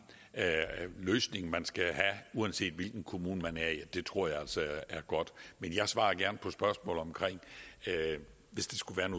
løsning man skal have uanset hvilken kommune man er i det tror jeg altså er godt men jeg svarer gerne på spørgsmål hvis der skulle